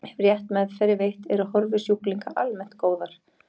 Ef rétt meðferð er veitt eru horfur sjúklinga almennt góðar.